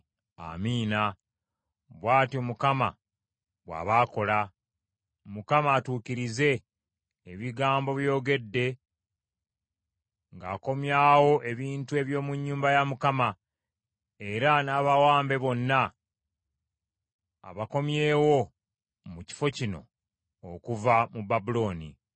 “Amiina! Bw’atyo Mukama bw’aba akola! Mukama atuukirize ebigambo by’oyogedde ng’akomyawo ebintu eby’omu nnyumba ya Mukama era n’abawambe bonna abakomyewo mu kifo kino okuva mu Babulooni.